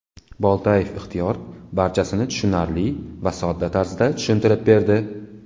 Boltayev Ixtiyor barchasini tushunarli va sodda tarzda tushuntirib berdi.